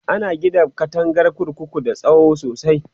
ana Gina katangar kurkuku da tsawo sosai